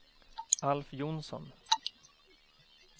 Alf Johnsson